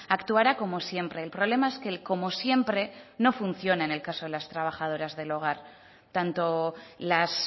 actuará como siempre el problema es que el como siempre no funciona en el caso de las trabajadoras del hogar tanto las